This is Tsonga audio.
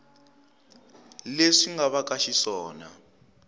leswi nga va ka xiswona